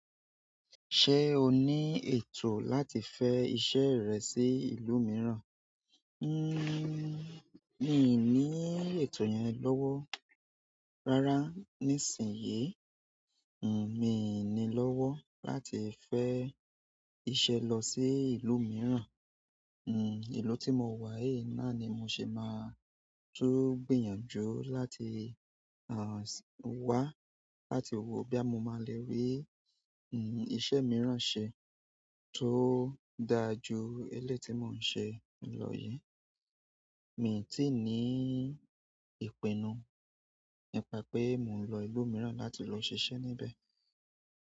Ṣé o ní ètò láti fẹ́ iṣẹ́ rẹ sí ìlú mìíràn? Nnn mi ò ní ètò yẹn lọ́wọ́. Rárá, nísìnyí, hmmm mi ò ní lọ́wọ́ láti fẹ́ iṣẹ́ lọ sí ìlú mìíràn. Hmm ìlú tí mo wà yìí náà ni mo ṣe máa tú gbìyànjú láti, ah, wá láti wò boya máa le rí, hmm iṣẹ́ mìíràn ṣe tó dáa ju elé ti mo ń ṣe lọ yí. Mi ò tí ì ní ìpinnu nípa pé mo ń lọ ìlú mìíràn láti lọ ṣiṣẹ́ níbẹ̀.